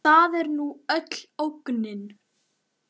Það er nú öll ógnin.